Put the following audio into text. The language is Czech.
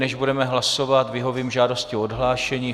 Než budeme hlasovat, vyhovím žádosti o odhlášení.